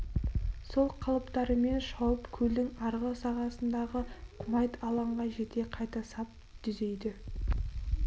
сол қалыптарымен шауып көлдің арғы сағасындағы құмайт алаңға жете қайта сап дүзейді